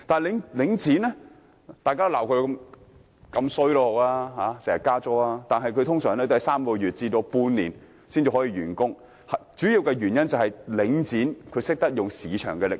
雖然市民經常批評領展頻頻加租，但其工程通常只需3個月至半年時間便可完成，主要原因是領展懂得運用市場力量。